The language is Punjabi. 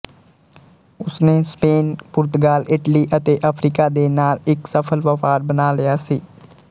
ਉਸਨੇ ਸਪੇਨ ਪੁਰਤਗਾਲ ਇਟਲੀ ਅਤੇ ਅਫਰੀਕਾ ਦੇ ਨਾਲ ਇੱਕ ਸਫਲ ਵਪਾਰ ਬਣਾ ਲਿਆ ਸੀ